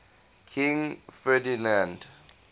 king ferdinand